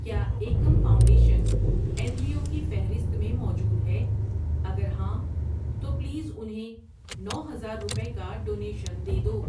کیا Ekam foundation N G O کی فہرست میں موجود ہے، اگر ہاں تو پلیز انہیں نو ہزار روپے کا ڈونیشن دے دو۔